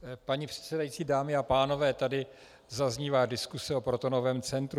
Paní předsedající, dámy a pánové, tady zaznívá diskuse o protonovém centru.